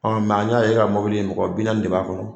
Ɔ an ɲa ye e ka mɔbili mɔgɔ bi naani de b'a kɔnɔ.